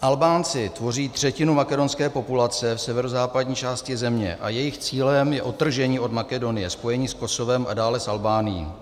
Albánci tvoří třetinu makedonské populace v severozápadní části země a jejich cílem je odtržení od Makedonie, spojení s Kosovem a dále s Albánií.